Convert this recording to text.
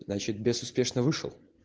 значит бес успешно вышел